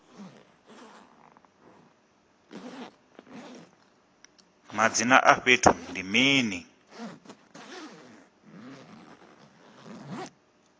madzina a fhethu ndi mini